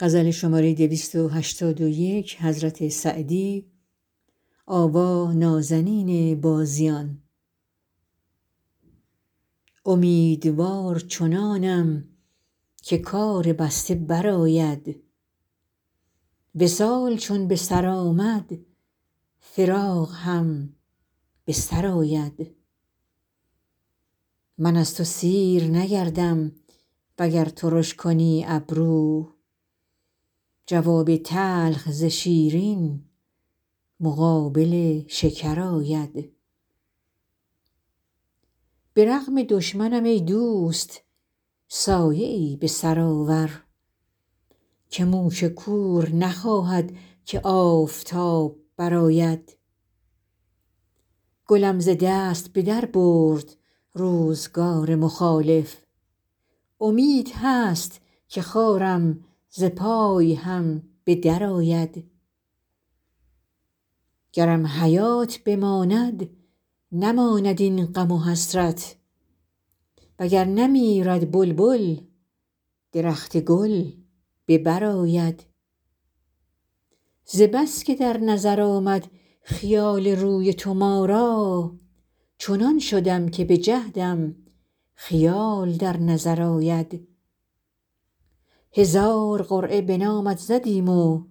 امیدوار چنانم که کار بسته برآید وصال چون به سر آمد فراق هم به سر آید من از تو سیر نگردم وگر ترش کنی ابرو جواب تلخ ز شیرین مقابل شکر آید به رغم دشمنم ای دوست سایه ای به سر آور که موش کور نخواهد که آفتاب برآید گلم ز دست به در برد روزگار مخالف امید هست که خارم ز پای هم به درآید گرم حیات بماند نماند این غم و حسرت و گر نمیرد بلبل درخت گل به بر آید ز بس که در نظر آمد خیال روی تو ما را چنان شدم که به جهدم خیال در نظر آید هزار قرعه به نامت زدیم و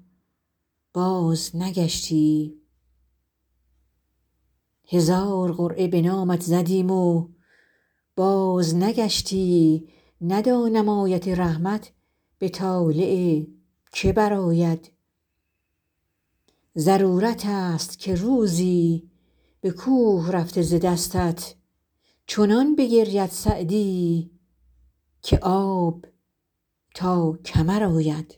بازنگشتی ندانم آیت رحمت به طالع که برآید ضرورت ست که روزی به کوه رفته ز دستت چنان بگرید سعدی که آب تا کمر آید